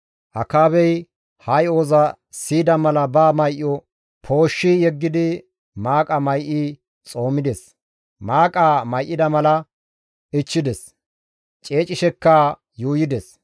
Akaabey ha yo7oza siyida mala ba may7o pooshshi yeggidi maaqa may7i xoomides. Maaqaa may7ida mala ichchides; ceecishekka yuuyides.